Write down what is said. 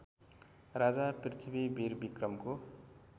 Raja Prithvi विरविक्रमको